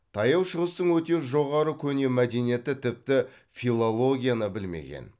таяу шығыстың өте жоғары көне мәдениеті тіпті филологияны білмеген